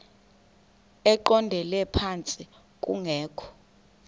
eqondele phantsi kungekho